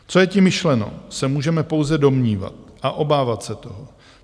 Co je tím myšleno, se můžeme pouze domnívat a obávat se toho.